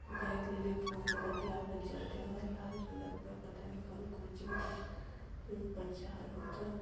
बाइक लेले फ़ोन से बतीयावत जात है और लाल कलर क पता नहीं कौन कोचिंग का उ प्रचार होता --